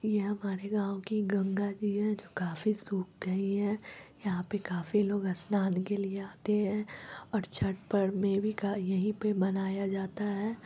ये हमारी गाँव की गंगा जी हैं जो काफी सूख गयी हैं। यहाँ पे काफी लोग स्नान के लिए आते हैं और छठ पर्व में भी का यही पे बनाया जाता है।